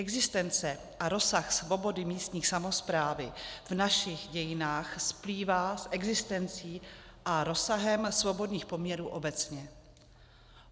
Existence a rozsah svobody místní samosprávy v našich dějinách splývá s existencí a rozsahem svobodných poměrů obecně.